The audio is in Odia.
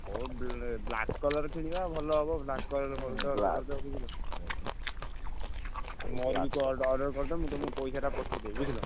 କୋଉ ବ black colour କିଣିବା ଭଲ ହବ black colour ମୋର କିନ୍ତୁ ଅଡ order କରିଦବ। ମୁଁ ତମୁକୁ ପଇସାଟା ପଠେଇଦେବି ବୁଝିଲ।